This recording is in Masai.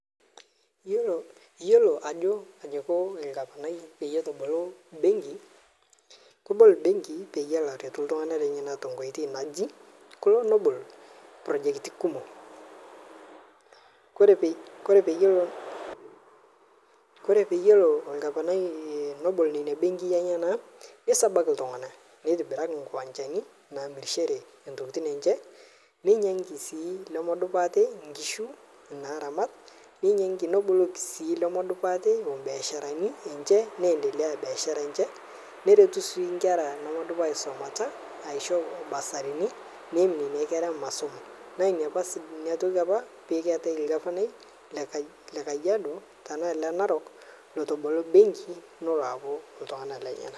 Yiolo Ajo Iko orgavanai pee ebok benki kebol benki pee etumoki atalaa iltung'ana lenyena tenkoitoi kelo nebolo projecti kumok ore peyie elo orgavanai nebolo ena benki sabaki iltung'ana nitobiraki nkiwanjani namirishore entokitin enye ninyiangu sii enkishu naramat neboloki sii biashara naendelea biashara enye neretu sii enkere nedup aisumata aishoo bursarini neeyim Nena kera masomo naa enatoki apa pee etae orgavanai lee Kajiado tenaa ole naraok otabolo benki neloo alakie iltung'ana lenyena